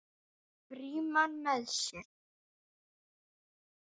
Frímann með sér.